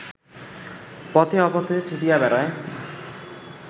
পথে অপথে ছুটিয়া বেড়ায়